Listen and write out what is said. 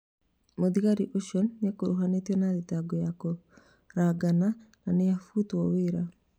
Mũthigari ũcio nĩakuruhanĩtio na thitango ya kũragana na nĩabutĩtwo wĩra